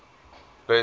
burnside